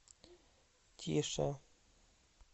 тише